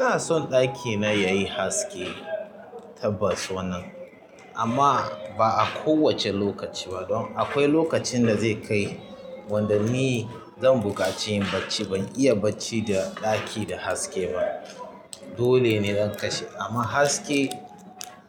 Ina son ɗakina yayi haske. Tabbas wannnan, amma ba a kowace lokaci ba don akwai lokacin da zai kai. Wanda ni zan buƙaci yin bacci ban iya bacci da ɗaki da haske ba. Dole ne in kashe amma haske